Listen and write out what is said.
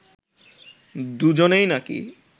দুজনেই নাকি